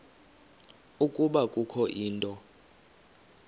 ukuba kukho into